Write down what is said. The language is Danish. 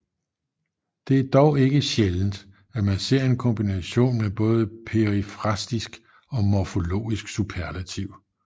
Det er dog ikke sjældent at man ser en kombination med både perifrastisk og morforlogisk superlativ